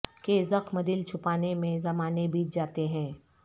کہ زخم دل چھپانے میں زمانے بیت جاتے ہیں